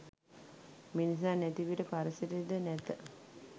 මිනිසා නැතිවිට පරිසරය ද නැත.